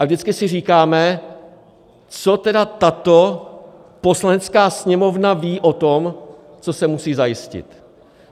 A vždycky si říkáme, co tedy tato Poslanecká sněmovna ví o tom, co se musí zajistit.